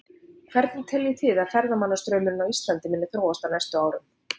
Hvernig teljið þið að ferðamannastraumurinn á Íslandi muni þróast á næstu árum?